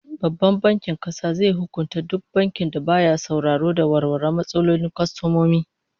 Babban Bankin Kasa zai hukunta duk bankin da baya sauraro da warware matsalolin kwastomomi